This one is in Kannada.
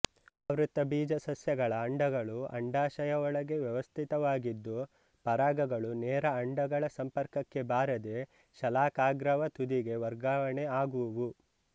ಆವೃತ ಬೀಜ ಸಸ್ಯಗಳ ಅಂಡಗಳು ಅಂಡಾಶಯ ಒಳಗೆ ವ್ಯವಸ್ಧಿತವಾಗಿದ್ದುಪರಾಗಗಳು ನೇರ ಅಂಡಗಳ ಸಂಪರ್ಕಕ್ಕೆ ಬಾರದೆಶಲಾಕಾಗ್ರವ ತುದಿಗೆ ವರ್ಗಾವಣಿ ಆಗುವುವು